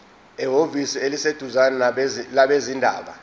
ehhovisi eliseduzane labezindaba